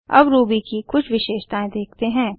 अब रूबी की कुछ विशेषतायें देखते हैं